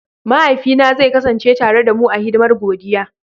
Mahaifina zai kasance tare da mu a hidimar godiya.